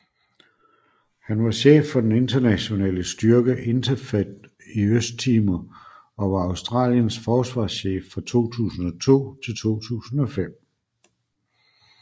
Han var chef for den internationale styrke INTERFET i Østtimor og var Australiens forsvarschef fra 2002 til 2005